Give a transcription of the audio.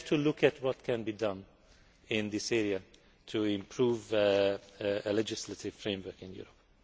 We have to look at what can be done in this area to improve the legislative framework in Europe.